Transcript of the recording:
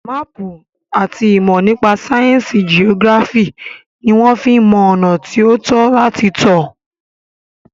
Máàpù àti ìmọ̀ nípa sáyẹnsì geography ní wọ́n fí ń mọ ọ̀nà tí o tọ́ láti tọ̀.